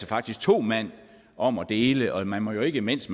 faktisk to mand om at dele og man må jo ikke mens